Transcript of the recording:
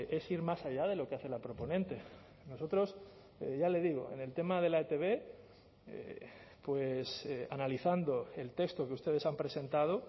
es ir más allá de lo que hace la proponente nosotros ya le digo en el tema de la etb analizando el texto que ustedes han presentado